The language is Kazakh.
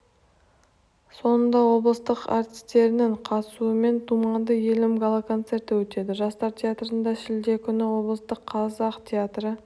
соңында облыс әртістерінің қатысуымен думанды елім гала-концерті өтеді жастар театрында шілде күні облыстық қазақ театры